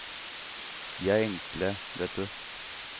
De er enkle, vet du.